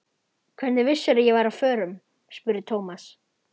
Hvernig vissirðu að ég væri á förum? spurði Thomas.